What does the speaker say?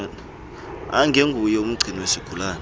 angenguye umgcini wesigulane